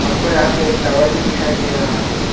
हमको यहां पे एक टावर भी दिखाई दे रहा है।